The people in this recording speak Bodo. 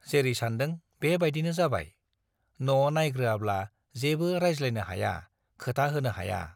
जेरै सानदों बे बाइदिनो जाबाय- न' नाइग्रोआब्ला जेबो रायज्लायनो हाया , खोथा होनो हाया ।